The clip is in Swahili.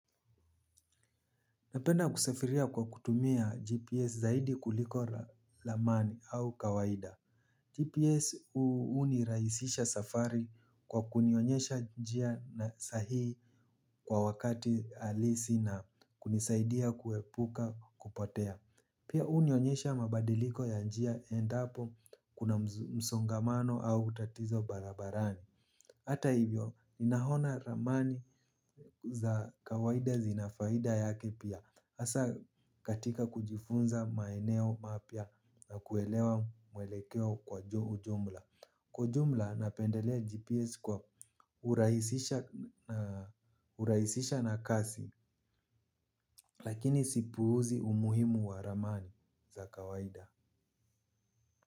Napenda kusafiria kwa kutumia GPS zaidi kuliko ramani au kawaida GPS hunirahisisha safari kwa kunionyesha njia na sahihi kwa wakati halisi na kunisaidia kuepuka kupotea. Pia hunionyesha mabadiliko ya njia endapo kuna msongamano au utatizo barabarani. Hata hivyo, ninaona ramani za kawaida zina faida yake pia, hasa katika kujifunza maeneo mapya na kuelewa mwelekeo kwa jumla. Kwa jumla napendelea GPS kwa kurahisisha na kasi lakini sipuuzi umuhimu wa ramani za kawaida.